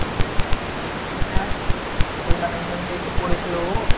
হ্যাঁ হ্যাঁ hotel management এই তো পড়েছিল ও